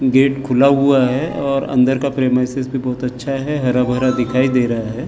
Gate खुला हुआ है और अंदर का प्रेमाइस बहुत अच्छा है हरा-भरा दिखाई दे रहा है ।